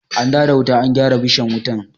An dawo da wuta, an gyara bishan wutan?